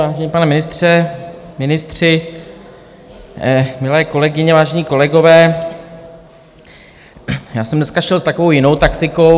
Vážený pane ministře, ministři, milé kolegyně, vážení kolegové, já jsem dneska šel s takovou jinou taktikou.